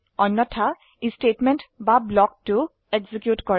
অন্যথায় ই স্টেটমেন্ট বা ব্লক 2 এক্সিকিউট কৰে